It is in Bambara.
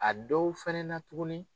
A dɔw fɛnɛ na tuguni.